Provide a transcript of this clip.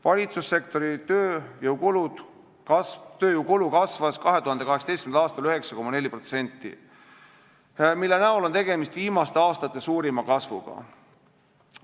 Valitsussektori tööjõukulu kasvas 2018. aastal 9,4%, mille näol on tegemist viimaste aastate suurima kasvuga.